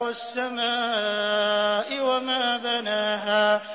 وَالسَّمَاءِ وَمَا بَنَاهَا